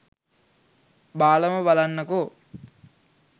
බාලම බලන්නකෝ